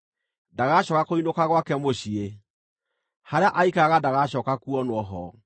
Ndagacooka kũinũka gwake mũciĩ; harĩa aaikaraga ndagacooka kuonwo ho.